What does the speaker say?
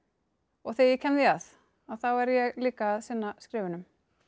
þegar ég kem því að að þá er ég líka að sinna skrifunum